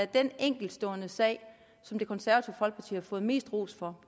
den enkeltstående sag som det konservative folkeparti har fået mest ros for